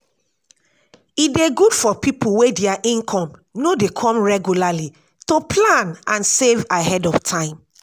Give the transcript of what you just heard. e dey good for pipo wey their income no dey come regularly to plan and save ahead of time